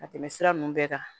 Ka tɛmɛ sira nunnu bɛɛ kan